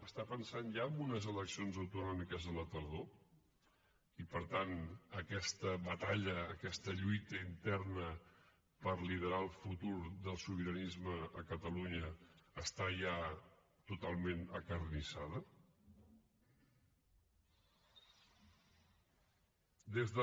està pensant ja en unes eleccions autonòmiques a la tardor i per tant aquesta batalla aquesta lluita interna per liderar el futur del sobiranisme a catalunya està ja totalment acarnissada des de